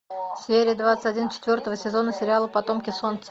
серия двадцать один четвертого сезона сериала потомки солнца